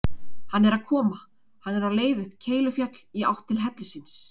Hann er að koma: hann er á leið upp Keilufjall í átt til hellisins.